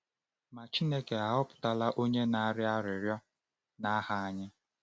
Ma Chineke ahọpụtala onye na-arịọ arịrịọ n’aha anyị.